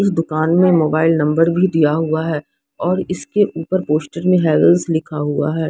इस दुकान में मोबाइल नंबर भी दिया हुआ है और इसके ऊपर पोस्टर में हैवेल्स लिखा हुआ है।